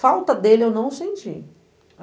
Falta dele eu não senti.